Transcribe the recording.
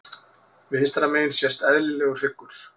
Vinstra megin sést eðlilegur hryggur.